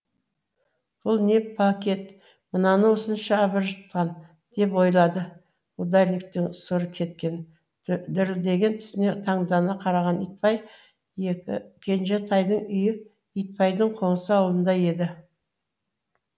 бұл не пакет мынаны осынша абыржытқан деп ойлады ударниктің сұры кеткен дірілдеген түсіне таңдана қараған итбай кенжетайдың үйі итбайдың қоңсы ауылында еді